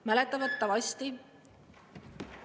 Mäletatavasti …